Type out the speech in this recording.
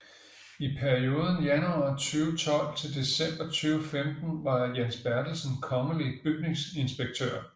I perioden januar 2012 til december 2015 var Jens Bertelsen kongelig bygningsinspektør